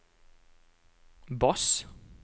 bass